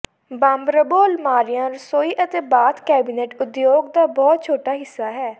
ਬੰਬਰਬੋ ਅਲਮਾਰੀਆ ਰਸੋਈ ਅਤੇ ਬਾਥ ਕੈਬਿਨਟ ਉਦਯੋਗ ਦਾ ਬਹੁਤ ਛੋਟਾ ਹਿੱਸਾ ਹੈ